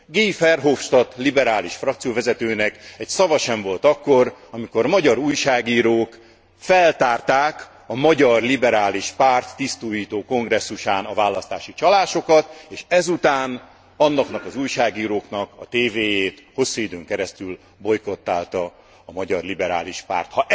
Guy Verhofstadt liberális frakcióvezetőnek egy szava sem volt akkor, amikor magyar újságírók feltárták a magyar liberális párt tisztújító kongresszusán a választási csalásokat, és ezután azoknak az újságíróknak a tévéjét hosszú időn keresztül bojkottálta a magyar liberális párt.